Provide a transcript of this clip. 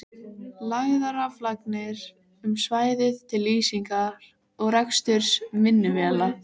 Lagðar raflagnir um svæðið til lýsingar og reksturs vinnuvéla.